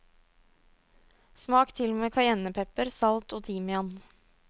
Smak til med kajennepepper, salt og timian.